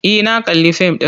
E, na kalli fim ɗin.